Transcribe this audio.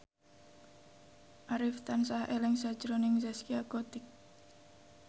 Arif tansah eling sakjroning Zaskia Gotik